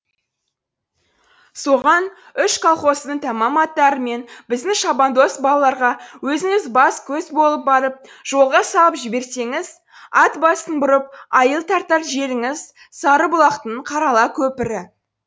соған үш колхоздың тәмам аттары мен біздің шабандоз балаларға өзіңіз бас көз болып барып жолға салып жіберсеңіз ат басын бұрып айыл тартар жеріңіз сарыбұлақтың қарала көпірі